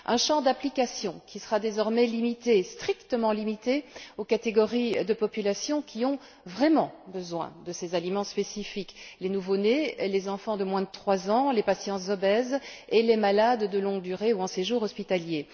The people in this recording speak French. Un champ d'application qui sera désormais limité, et strictement limité, aux catégories de populations qui ont vraiment besoin de ces aliments spécifiques les nouveaux nés et les enfants de moins de trois ans, les patients obèses et les malades de longue durée ou en séjour hospitalier.